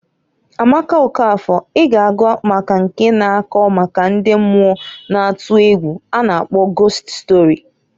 Amaka Okafor I g'agụ maka nke na-akọ maka ndi mmuo na atu egwu a na -akpọ gost stori.